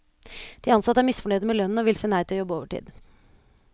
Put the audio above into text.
De ansatte er misfornøyde med lønnen og vil si nei til å jobbe overtid.